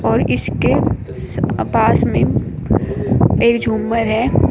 और इसके पास में एक झूमर है।